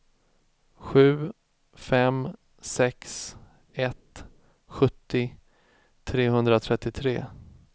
sju fem sex ett sjuttio trehundratrettiotre